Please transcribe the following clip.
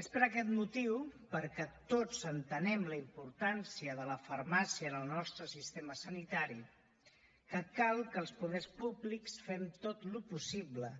és per aquest motiu perquè tots entenem la importància de la farmàcia en el nostre sistema sanitari que cal que els poders públics fem tot el possible